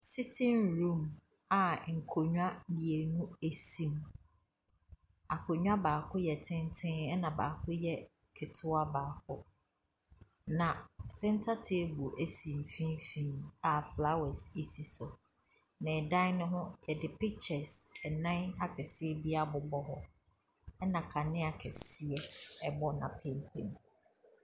Sitting room a nkonnwa mmienu si mu. Akonnwa baako yɛ tenten, ɛna baako yɛ ketewa baako. Na center table si mfimfini a flowres si so. Na dan no ho, wɔde pictures nnanakɛseɛ bi abobɔ hɔ, ɛna kanea kɛseɛ bɔ n'apampam.